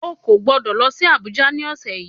O ò gbọ́dọ̀ lọ sí Abuja ni ọ̀sẹ̀ yìí